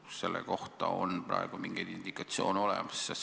Kas selle kohta on praegu mingeid indikatsioone olemas?